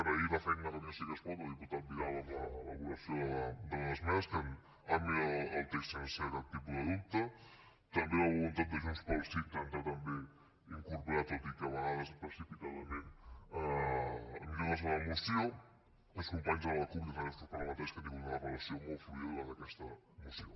agrair la feina de catalunya sí que es pot del diputat vidal en l’elaboració de les esmenes que han millorat el text sense cap tipus de dubte també la voluntat de junts pel sí d’intentar també incorporar tot i que a vegades precipitadament millores a la moció i donar les gràcies als companys de la cup i als altres grups parlamentaris que han tingut una relació molt fluida durant aquesta moció